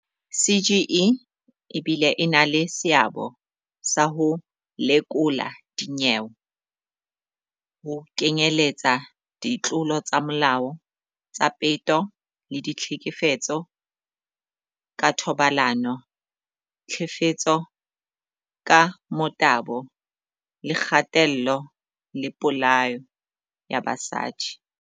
"CGE e bile e na le seabo sa ho lekola dinyewe, ho kenyeletswa ditlolo tsa molao tsa peto le ditlhekefetso ka thobalano, tlhefetso ka motabo le kgatello le polao ya basadi."